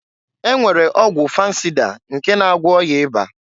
E nwere ọgwụ fansịda nke na agwọ ọya ịba.